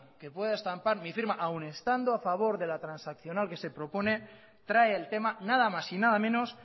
que pueda estampar mi firma aun estando a favor de la transaccional que se propone trae el tema nada más y nada menos